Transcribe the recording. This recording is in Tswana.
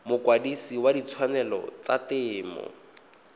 mokwadise wa ditshwanelo tsa temo